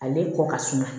Ale kɔ ka suma